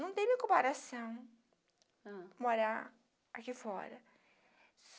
Não tem nem comparação, não, morar aqui fora.